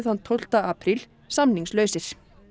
tólfta apríl samningslausir